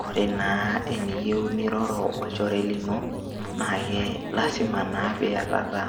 Kore naa eniyeu niroro o ilchoree lino naeke lasima naa pii ietata